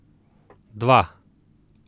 Dva!